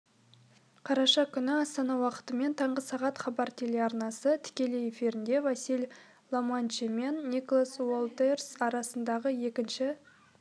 қараша күніастана уақытымен таңғы сағат хабар телеарнасы тікелей эфирінде василий ломаченко мен николас уолтерс арасындағы екінші